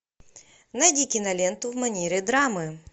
найди киноленту в манере драмы